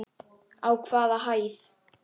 Á hvaða hæð?